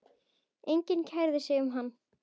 Enginn kærði sig um hann.